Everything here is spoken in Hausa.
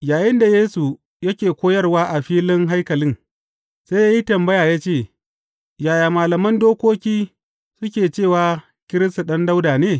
Yayinda Yesu yake koyarwa a filin haikalin, sai ya yi tambaya ya ce, Yaya malaman dokoki suke cewa Kiristi ɗan Dawuda ne?